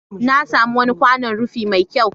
Na sami wani kwanon rufi mai kyau.